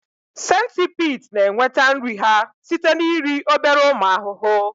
Centipedes na-enweta nri ha site na iri obere ụmụ ahụhụ